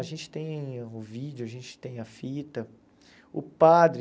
A gente tem o vídeo, a gente tem a fita, o padre...